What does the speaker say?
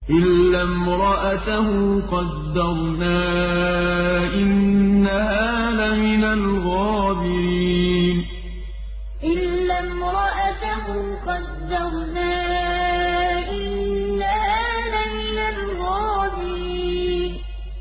إِلَّا امْرَأَتَهُ قَدَّرْنَا ۙ إِنَّهَا لَمِنَ الْغَابِرِينَ إِلَّا امْرَأَتَهُ قَدَّرْنَا ۙ إِنَّهَا لَمِنَ الْغَابِرِينَ